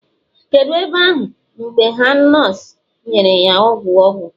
kedu ebe ahu mgbe ha nurse nyere ya ogwu ogwu?